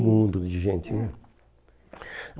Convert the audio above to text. Um mundo de gente, né?